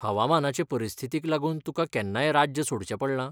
हवामानाचे परिस्थितीक लागून तुका केन्नाय राज्य सोडचें पडलां?